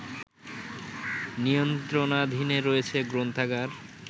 নিয়ন্ত্রণাধীনে রয়েছে গ্রন্থাগার